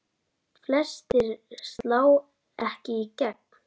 Flestir slá ekki í gegn.